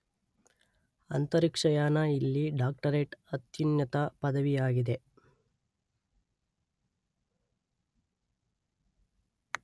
ಅಂತರಿಕ್ಷಯಾನ ಇಲ್ಲಿ ಡಾಕ್ಟರೇಟ್ ಅತ್ಯುನ್ನತ ಪದವಿಯಾಗಿದೆ.